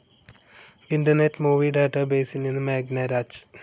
internet movie ഡാറ്റാബേസിൽ നിന്ന് മേഘന രാജ്